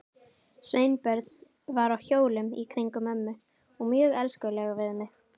Sveinbjörn var á hjólum í kringum mömmu og mjög elskulegur við mig.